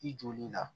I joli la